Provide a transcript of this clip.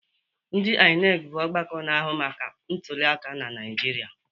Ndi INEC bụ ọgbakọ na-ahụ maka ntuliaka na Naịjirịa.